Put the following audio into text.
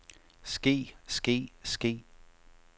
ske ske ske